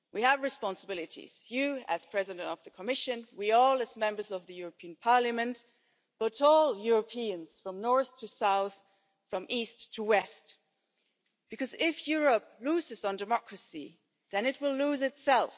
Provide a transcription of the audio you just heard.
We have responsibilities you, as President of the Commission, we all, as Members of the European Parliament and all Europeans from north to south, from east to west. Because if Europe loses on democracy, then it will lose itself.